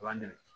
U b'an dɛmɛ